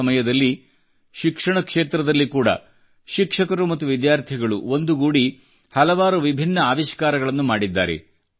ಈ ಸಮಯದಲ್ಲಿ ಶಿಕ್ಷಣ ಕ್ಷೇತ್ರದಲ್ಲಿ ಕೂಡಾ ಶಿಕ್ಷಕರು ಮತ್ತು ವಿದ್ಯಾರ್ಥಿಗಳು ಒಂದುಗೂಡಿ ಹಲವಾರು ವಿಭಿನ್ನ ಆವಿಷ್ಕಾರಗಳನ್ನು ಮಾಡಿದ್ದಾರೆ